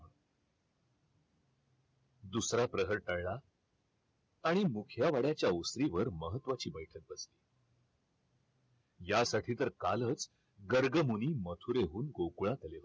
दुसरा प्रहर टळला आणि मुखिया वाड्याच्या ओसरीवर महत्वाची बैठक होती यासाठी तर कालच गर्गमुनी मथुरेवरून गोकुळात आले होते